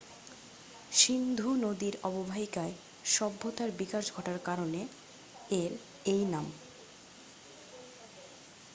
সিন্ধু নদীর অববাহিকায় সভ্যতার বিকাশ ঘটার কারণে এর এই নাম